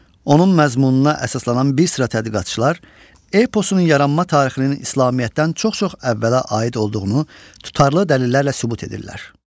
Onun məzmununa əsaslanan bir sıra tədqiqatçılar eposun yaranma tarixinin İslamiyyətdən çox-çox əvvələ aid olduğunu tutarlı dəlillərlə sübut edirlər.